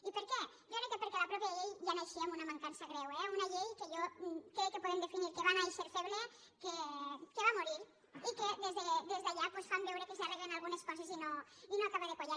i per què jo crec que perquè la mateixa llei ja naixia amb una mancança greu eh una llei que jo crec que podem definir que va nàixer feble que va morir i que des d’allà doncs fan veure que s’arreglen algunes coses i no acaba de quallar